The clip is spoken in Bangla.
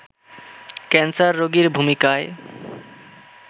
ক্যান্সার রোগীর ভূমিকায়